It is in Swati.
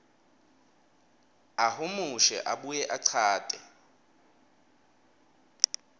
ahumushe abuye achaze